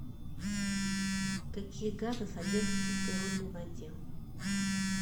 какие газы содержатся в природной воде